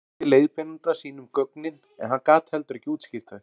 hún sýndi leiðbeinanda sínum gögnin en hann gat heldur ekki útskýrt þau